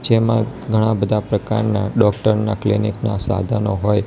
જેમા ઘણા-બધા પ્રકારના ડોક્ટર ના ક્લિનિક ના સાધનો હોય --"